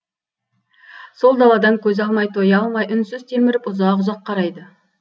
сол даладан көз алмай тоя алмай үнсіз телміріп ұзақ ұзақ қарайды